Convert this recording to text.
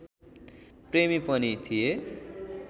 प्रेमी पनि थिए